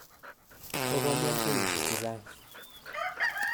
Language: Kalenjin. Koko mian kenyisyek che chang'.